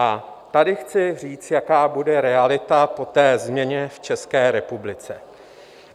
A tady chci říct, jaká bude realita po té změně v České republice.